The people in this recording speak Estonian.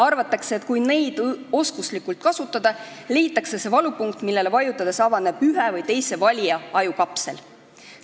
Arvatakse, et kui neid oskuslikult kasutada, leitakse see valupunkt, millele vajutades avaneb ühe või teise valija ajukapsel.